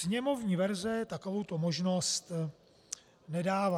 Sněmovní verze takovouto možnost nedává.